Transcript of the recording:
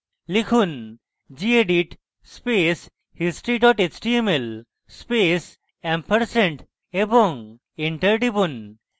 লিখুন: gedit space history html space ampersand এবং enter টিপুন